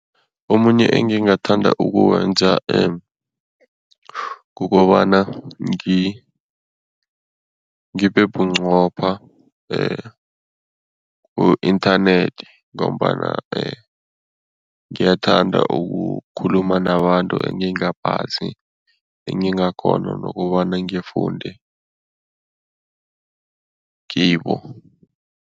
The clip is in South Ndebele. Omunye engingathanda ukuwenza kukobana ngibe bunqopha ku-inthanethi ngombana ngiyathanda ukukhuluma nabantu engingabazi, engingakghona nokobana ngifunde kibo.